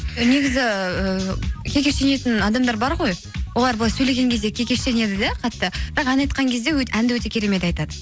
і негізі ііі кекештенетін адамдар бар ғой олар былай сөйлеген кезде кекештенеді де қатты бірақ ән айтқан кезде әнді өте керемет айтады